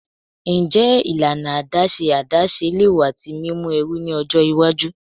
Njẹ ilana adaṣe adaṣe le wa ti mimu ẹru ni ọjọ iwaju?